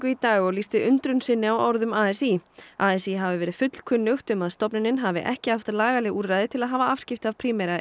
í dag og lýsti undrun sinni á orðum a s í a s í hafi verið fullkunnugt um að stofnunin hafi ekki haft lagaleg úrræði til að hafa afskipti af Primera